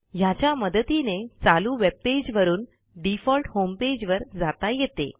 ह्याच्या मदतीने चालू वेब पेजवरून डिफॉल्ट होमपेज वर जाता येते